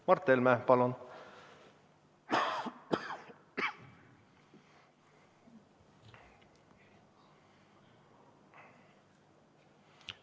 Mart Helme, palun!